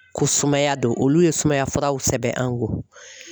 Ko sumaya do olu ye sumaya furaw sɛbɛn an kun.